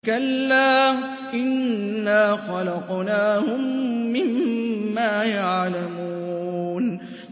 كَلَّا ۖ إِنَّا خَلَقْنَاهُم مِّمَّا يَعْلَمُونَ